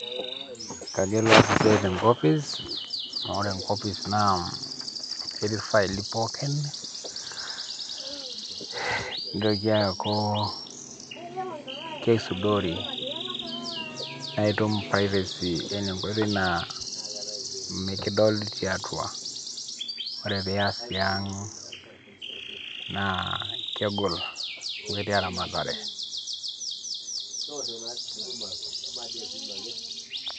Kagelu aas esiai tenkopis, amu ore enkopis naa ketii ifaili pookin, nitoki aku keisudori, na itum privacy yani enkoitoi naa mikidoli tiatua. Ore pias tiang',naa kegol. Amu ketii eramatare.